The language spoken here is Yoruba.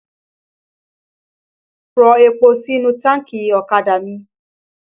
Rọ epo sínú táànkì ọ̀kadà mi!